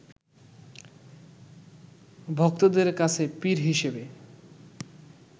ভক্তদের কাছে পীর হিসেবে